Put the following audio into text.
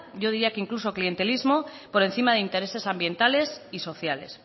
yo diría que incluso clientelismo por encima de intereses ambientales y sociales